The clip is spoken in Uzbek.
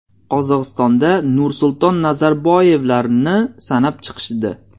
Qozog‘istonda Nursulton Nazarboyevlarni sanab chiqishdi.